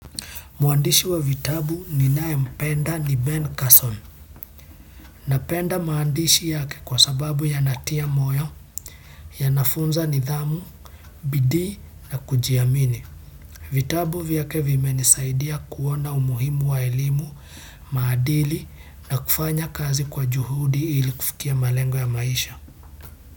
Mwandishi wa vitabu ninayempenda ni Ben Carson. Napenda maandishi yake kwa sababu yanatia moyo, yanafunza nidhamu, bidii na kujiamini. Vitabu vyake vimenisaidia kuona umuhimu wa elimu, maadili na kufanya kazi kwa juhudi ili kufikia malengo ya maisha.